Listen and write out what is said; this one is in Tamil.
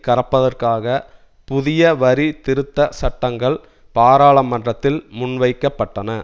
கறப்பதற்காக புதிய வரி திருத்த சட்டங்கள் பாராளமன்றத்தில் முன்வைக்கப்பட்டன